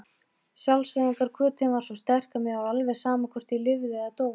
Sjálfseyðingarhvötin var svo sterk að mér var alveg sama hvort ég lifði eða dó.